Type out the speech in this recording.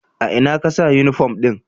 A ina ka sa uniform ɗin?